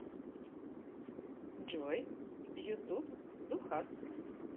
джой ютуб ду хаст